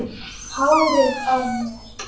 Hárið á mér?